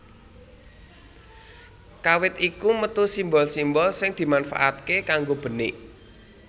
Kawit iku metu simbol simbol sing dimanfaatake kanggo benik